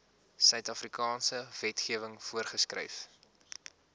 suidafrikaanse wetgewing voorgeskryf